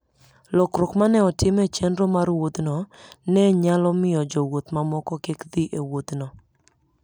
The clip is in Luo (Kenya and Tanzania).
Lokruok ma ne otim e chenro mar wuodhno, ne nyalo miyo jowuoth mamoko kik dhi e wuodhno.